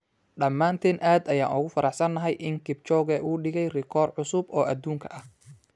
“Dhamaanteen aad ayaan ugu faraxsanahay in Kipchoge uu dhigay rikoor cusub oo adduunka ah.